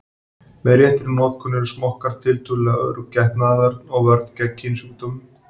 Með réttri notkun eru smokkar tiltölulega örugg getnaðarvörn og vörn gegn kynsjúkdómum.